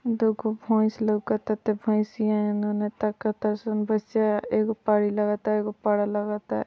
दुगो भैंस लौक तटे भैसिया एने-ओने ताक ताड़ी सन भैसिया एगो पाड़ी लगता एगो पाड़ा लगता।